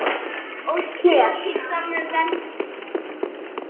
Beltið er alfarið hannað hér.